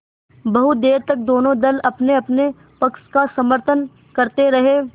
बहुत देर तक दोनों दल अपनेअपने पक्ष का समर्थन करते रहे